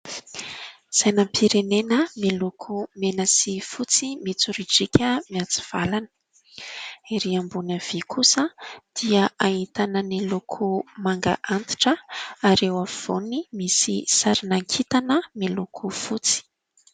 Sainam-pirenena miloko mena sy fotsy mitsoridrika miatsivalana. Ery ambony avia kosa dia ahitana ny loko manga antitra ary eo afovoany misy sarinana kintana miloko fotsy.